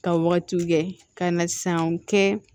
Ka wagatiw kɛ ka na sanw kɛ